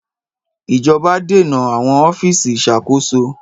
Ìjọba dènà àwọn ọ́fíìsì ìṣàkóso.